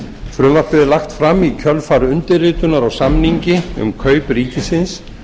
frumvarpið er lagt fram í kjölfar undirritunar á samningi um kaup ríkisins